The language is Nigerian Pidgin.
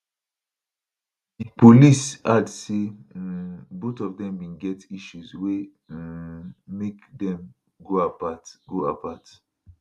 di police add say um both of dem bin get issues wey um make dem go apart go apart